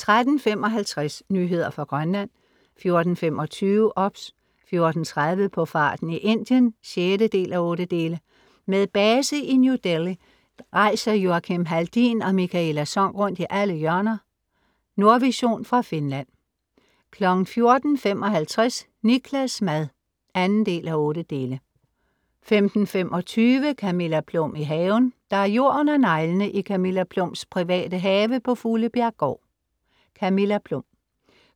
13:55 Nyheder fra Grønland 14:25 OBS 14:30 På farten i Indien (6:8) Med base i New Delhi rejser Joakim Haldin og Mikaela Sonck rundt i alle hjørner af. Nordvision fra Finland 14:55 Niklas' mad (2:8) 15:25 Camilla Plum i haven. Der er jord under neglene i Camilla Plums private have på Fuglebjerggård. Camilla